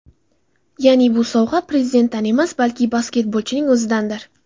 Ya’ni bu sovg‘a prezidentdan emas, balki basketbolchining o‘zidandir.